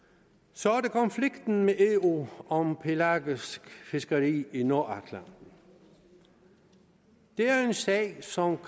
så er der konflikten med eu om pelagisk fiskeri i nordatlanten det er en sag som